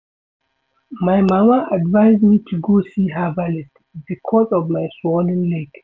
My mama advice me to go see herbalist because of my swollen leg